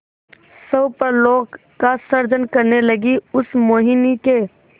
स्वप्नलोक का सृजन करने लगीउस मोहिनी के